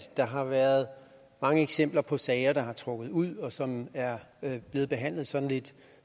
der har været mange eksempler på sager der er trukket ud og som er blevet behandlet sådan lidt